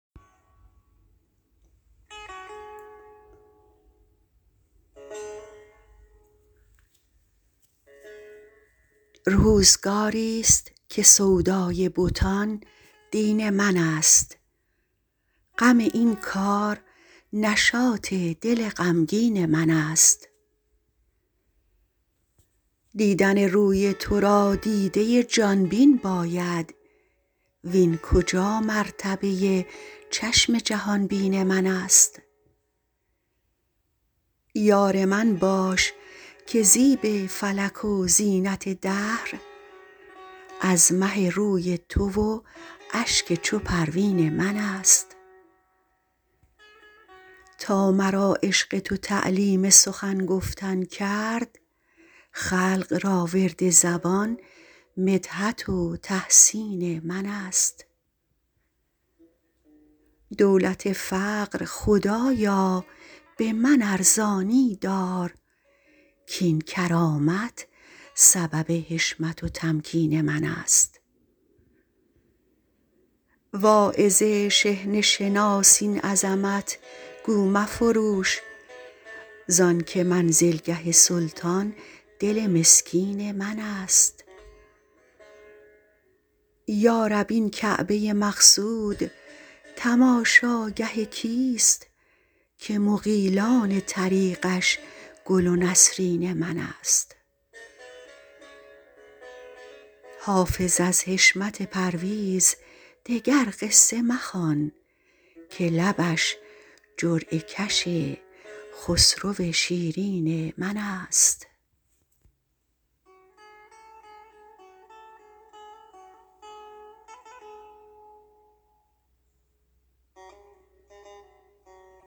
روزگاری ست که سودای بتان دین من است غم این کار نشاط دل غمگین من است دیدن روی تو را دیده ی جان بین باید وین کجا مرتبه ی چشم جهان بین من است یار من باش که زیب فلک و زینت دهر از مه روی تو و اشک چو پروین من است تا مرا عشق تو تعلیم سخن گفتن کرد خلق را ورد زبان مدحت و تحسین من است دولت فقر خدایا به من ارزانی دار کاین کرامت سبب حشمت و تمکین من است واعظ شحنه شناس این عظمت گو مفروش زان که منزلگه سلطان دل مسکین من است یا رب این کعبه ی مقصود تماشاگه کیست که مغیلان طریقش گل و نسرین من است حافظ از حشمت پرویز دگر قصه مخوان که لبش جرعه کش خسرو شیرین من است